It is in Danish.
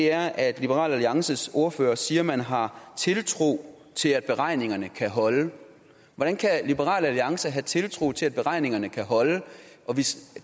er at liberal alliances ordfører siger man har tiltro til at beregningerne kan holde hvordan kan liberal alliance have tiltro til at beregningerne kan holde